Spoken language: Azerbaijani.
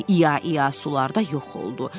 ia-ia sularda yox oldu.